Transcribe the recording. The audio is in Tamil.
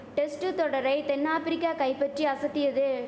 டெஸ்ட்டு தொடரை தென் ஆப்ரிக்கா கைபட்டி அசத்தியது